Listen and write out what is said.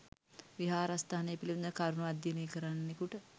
විහාරස්ථානය පිළිබඳ කරුණු අධ්‍යයනය කරන්නෙකුට